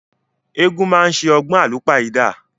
Egungun máa ni ṣe ọgbọn àlúpàyídà.